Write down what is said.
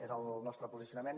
és el nostre posicionament